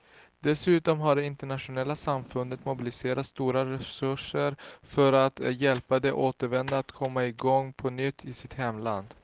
Dessutom har det internationella samfundet mobiliserat stora resurser för att hjälpa de återvändande att komma i gång på nytt i sitt hemland.